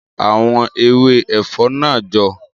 Ma sa àwọn ewé ẹ̀fọ́ náà jọ.